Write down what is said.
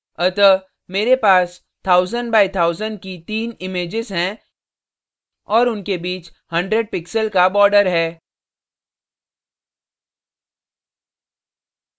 अतः मेरे पास 1000 by 1000 की तीन images हैं और उनके बीच 100 pixels का border है